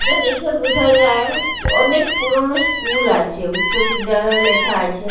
এটা দেখে বোঝা যায় অনেক পুরোনো স্কুল আছে উচ্চবিদ্যালয় লেখা আছে।